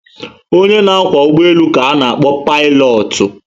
Onye na kwá ụgbọelu ka ana- akpọ Paịlọọtụ